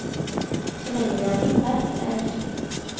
Så lenge det er mitt verk, er jeg lykkelig.